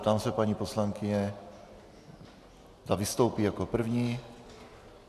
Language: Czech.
Ptám se paní poslankyně, zda vystoupí jako první.